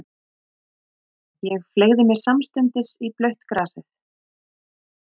Ég fleygði mér samstundis í blautt grasið.